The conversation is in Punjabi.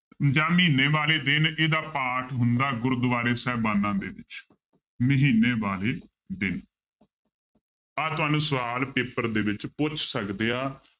ਜਾਂ ਮਹੀਨੇ ਵਾਲੇ ਦਿਨ ਇਹਦਾ ਪਾਠ ਹੁੰਦਾ ਗੁਰਦੁਆਰੇ ਸਾਹਿਬਾਨਾਂ ਦੇ ਵਿੱਚ, ਮਹੀਨੇ ਬਾਰੇ ਦਿਨ ਆਹ ਤੁਹਾਨੂੰ ਸਵਾਲ ਪੇਪਰ ਦੇ ਵਿੱਚ ਪੁੱਛ ਸਕਦੇ ਆ